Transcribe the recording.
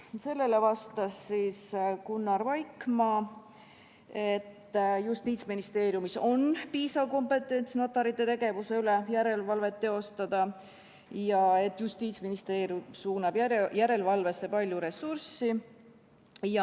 Sellele vastas Gunnar Vaikmaa, et Justiitsministeeriumis on piisav kompetents notarite tegevuse üle järelevalvet teostada ja Justiitsministeerium suunab järelevalvesse palju ressurssi.